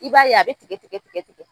I b'a ye a bɛ tigɛtigɛ tigɛtigɛ.